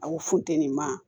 Aw funteni man